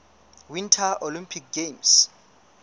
winter olympic games